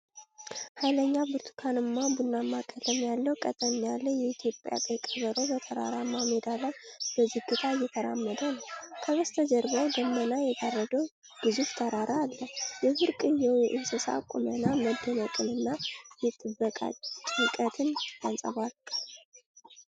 ኃይለኛ ብርቱካንማ-ቡናማ ቀለም ያለው፣ ቀጠን ያለ የኢትዮጵያ ቀይ ቀበሮ በተራራማ ሜዳ ላይ በዝግታ እየተራመደ ነው። ከበስተጀርባው ደመና የጋረደው ግዙፍ ተራራ አለ። የብርቅዬው እንስሳ ቁመና መደነቅን እና የጥበቃ ጭንቀትን ያንጸባርቃል።